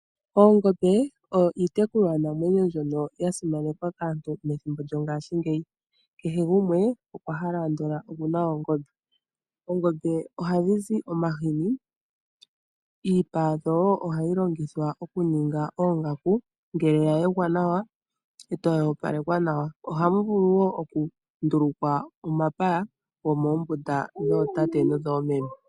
Oongombe oyo iitekulwa namwenyo mbyono ya simanekwa kaantu methimbo lyongashingeyi. Kehe gumwe okwa hala andola okuna oongombe. Oongombe ohadhi zi omahini. Iipa yadho wo ohayi longithwa okuninga oongaku ngele ya yegwa nawa etayi opalekwa nawa. Ohamu lu wo okundulukwa po omapaya gomoombunda dhootate nodhoomeme.